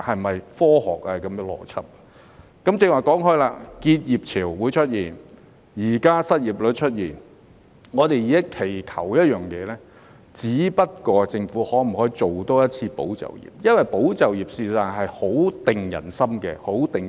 我剛才提到結業潮會出現，而失業率現在亦已經出現，我們現時期求的一件事，只不過是政府可否再推出一次"保就業"計劃。